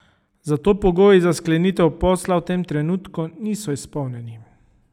Zato pogoji za sklenitev posla v tem trenutku niso izpolnjeni.